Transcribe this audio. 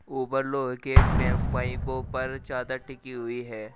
ऊपर लोहे के पाइपों पर चादर टिकी हुई है।